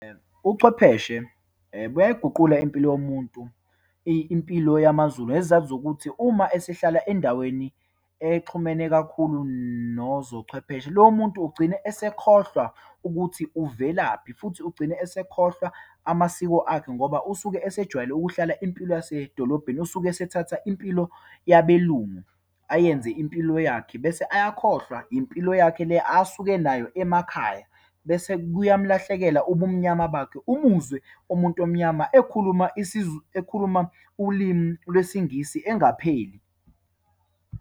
Uchwepheshe buyayiguqula impilo yomuntu, impilo yamaZulu, ngesizathu sokuthi uma esehlala endaweni exhumene kakhulu nozochwepheshe, lowo muntu ugcine esekhohlwa ukuthi uvelaphi, futhi ugcine esekhohlwa amasiko akhe, ngoba usuke esijwayele ukuhlala impilo yasedolobheni. Usuke esethatha impilo yabeLungu, ayenze impilo yakhe bese ayakhohlwa impilo yakhe le asuke nayo emakhaya. Bese kuyamlahlekela ubumnyama bakhe. Umuzwe umuntu omnyama ekhuluma ekhuluma ulimi lwesiNgisi engapheli.